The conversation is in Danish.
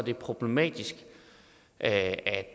er problematisk at